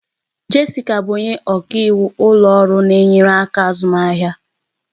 Jessica bụ onye ọka iwu ụlọ ọrụ na-enyere aka azụmaahịa